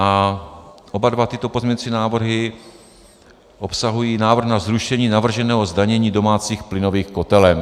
A oba dva tyto pozměňovací návrhy obsahují návrh na zrušení navrženého zdanění domácích plynových kotelen.